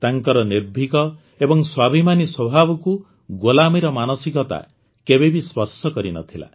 ତାଙ୍କର ନିର୍ଭୀକ ଏବଂ ସ୍ୱାଭିମାନୀ ସ୍ୱଭାବକୁ ଗୋଲାମୀର ମାନସିକତା କେବେ ବି ସ୍ପର୍ଶ କରିନଥିଲା